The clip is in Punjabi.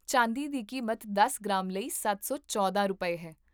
ਚਾਂਦੀ ਦੀ ਕੀਮਤ ਦਸ ਗ੍ਰਾਮ ਲਈ ਸੱਤ ਸੌ ਚੌਦਾਂ ਰੁਪਏ ਹੈ